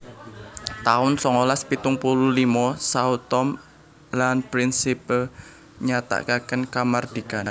taun songolas pitung puluh limo Sao Tome lan Principe nyatakaken kamardikan